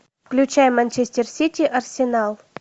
включай манчестер сити арсенал